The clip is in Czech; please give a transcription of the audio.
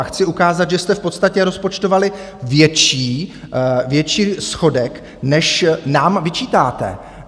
A chci ukázat, že jste v podstatě rozpočtovali větší schodek, než nám vyčítáte.